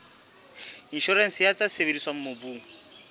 inshorense ya tse sebediswang mobung